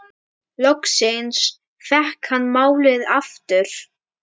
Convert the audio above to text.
Loksins fékk hann málið aftur.